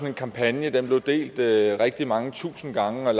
en kampagne den blev delt rigtig mange tusind gange og